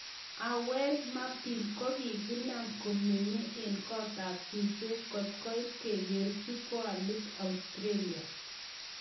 Awer Mabil: kogiinam komeny en kot ap suswek kot koit kogerchi goalit Australia.